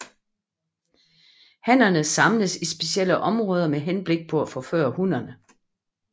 Hannerne samles i specielle områder med henblik på at forføre hunnerne